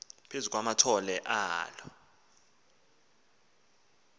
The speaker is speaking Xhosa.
phezu kwamathole alo